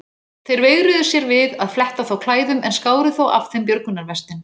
Þeir veigruðu sér við að fletta þá klæðum en skáru þó af þeim björgunarvestin.